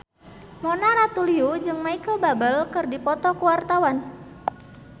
Mona Ratuliu jeung Micheal Bubble keur dipoto ku wartawan